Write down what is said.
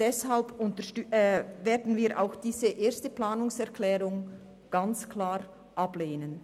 Deshalb werden wir auch die erste Planungserklärung klar ablehnen.